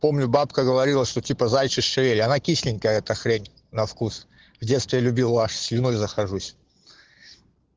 бабка говорила что типа заячья шея она кисленькая эта хрень на вкус в детстве любил аж слюной захожусь